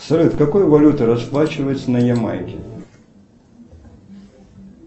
салют какой валютой расплачиваются на ямайке